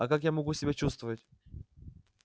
а как я могу себя чувствовать